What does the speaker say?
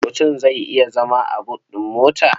Mutum zai iya zama a but ɗin mota?